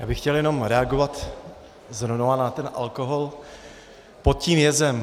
Já bych chtěl jenom reagovat znova na ten alkohol pod tím jezem.